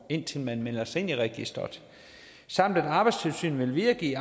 indtil man melder sig ind i registeret samt at arbejdstilsynet vil videregive